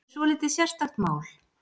Þetta er svolítið sérstakt mál.